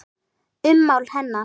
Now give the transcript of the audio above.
Ummál hennar